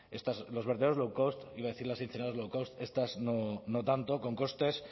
los verdaderos lowcost iba a decir la incineradoras lowcost estas no tanto con costes